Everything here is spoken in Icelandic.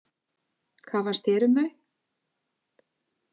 Hvað fannst þér um þau?